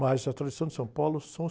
Mas a tradição de São Paulo são os